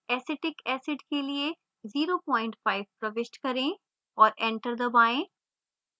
acetic acid के लिए 05 प्रविष्ट करें और enter दबाएँ